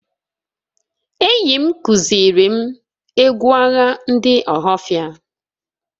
Enyim kuzirim egwu agha ndị ohafia